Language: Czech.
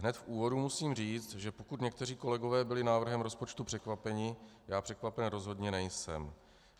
Hned v úvodu musím říct, že pokud někteří kolegové byli návrhem rozpočtu překvapeni, já překvapen rozhodně nejsem.